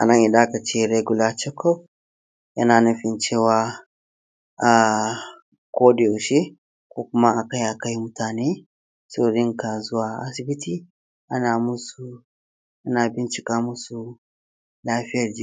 Amma fa akwai kuma waɗanda suke rawar baɗala, wato fitsararru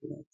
kenan.